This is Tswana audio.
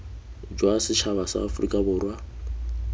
jwa setšhaba sa aforika borwa